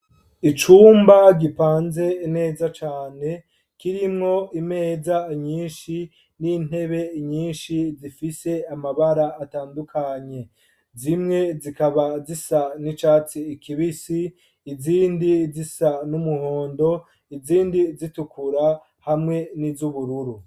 Icumba, gipanze neza cane, kirimwo imeza nyinshi, n'intebe nyinshi, zifise amabara atandukanye; zimwe, zikaba zisa n'icatsi kibisi, izindi zisa n'umuhondo, izindi zitukura, hamwe n'iz'ubururu.